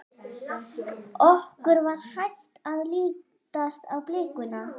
Okkur var hætt að lítast á blikuna.